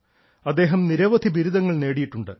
അദ്ദേഹം നിരവധി ബിരുദങ്ങൾ നേടിയിട്ടുണ്ട്